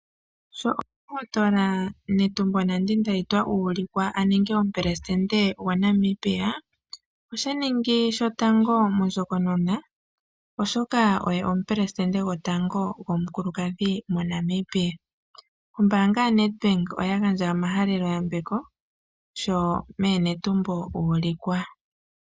Sho omundohotola Netumbo Nandi-Ndaitwah uulikwa aninge omupelesitende gwaNamibia. Oshaningi shotango mondjokonona, oshoka oye omupelesitende gotango gomukulukadhi moNamibia. Ombaanga yaNedbank oya gandja omahalelo yambeko shomeeNetumbo uulikwa.